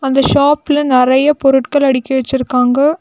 இந்த ஷாப்ல நெறைய பொருட்கள் அடுக்கி வச்சுருக்காங்க.